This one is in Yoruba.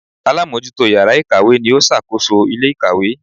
Alámójútó yàrá ìkàwé ni ó sàkóso ilé ìkàwé